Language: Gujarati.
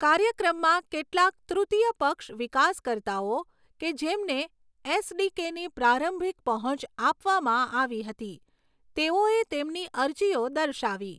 કાર્યક્રમમાં, કેટલાક તૃતીય પક્ષ વિકાસકર્તાઓ કે જેમને એસ.ડી.કે.ની પ્રારંભિક પહોંચ આપવામાં આવી હતી, તેઓએ તેમની અરજીઓ દર્શાવી.